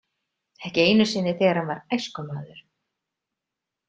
Ekki einu sinni þegar hann var æskumaður.